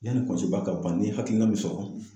Yanni ka ban n ye hakilina min sɔrɔ